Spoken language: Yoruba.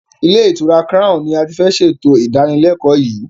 Ilé ìtura crown ní a tí fẹ́ ṣe ètò ìdánilékòó yìí.